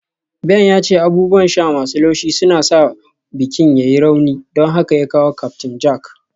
Ben ya ce abubuwan sha masu laushi suna sa bikin ya yi rauni, don haka ya kawo Captain Jack